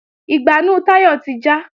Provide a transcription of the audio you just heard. Ìgbánú Táyọ̀ ti já